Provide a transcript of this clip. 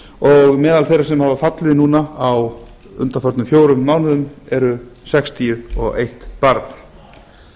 og meðal þeirra sem hafa fallið núna á undanförnum fjórum mánuðum er sextíu og eitt barn